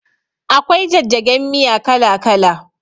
Akwai jajjagen miya kala kala